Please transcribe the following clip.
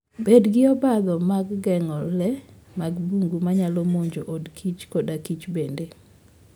Bed gi obadho mag geng'o le mag bungu manyalo monjo od kich koda kich bende.